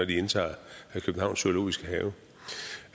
de indtager københavns zoologiske have